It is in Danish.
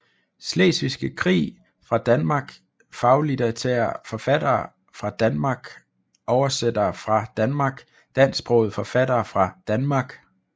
Slesvigske Krig fra Danmark Faglitterære forfattere fra Danmark Oversættere fra Danmark Dansksprogede forfattere fra Danmark